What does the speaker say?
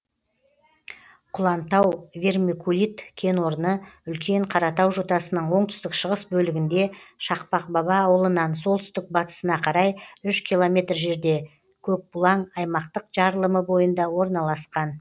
құлантау вермикулит кенорны үлкен қаратау жотасының оңтүстік шығыс бөлігінде шақпақбаба ауылынан солтүстік батысына карай үш километр жерде көкбұлаң аймақтық жарылымы бойында орналасқан